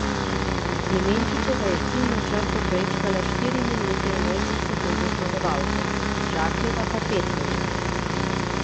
Klemenčičeva je ciljno črto prečkala štiri minute in osem sekund za zmagovalko, Žakljeva pa pet minut.